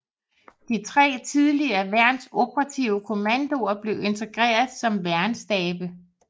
De tre tidligere værns operative kommandoer blev integreret som værnsstabe